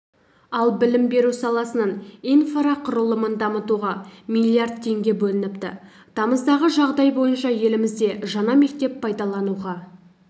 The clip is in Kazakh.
ал білім беру саласының инфрақұрылымын дамытуға миллиард теңге бөлініпті тамыздағы жағдай бойынша елімізде жаңа мектеп пайдалануға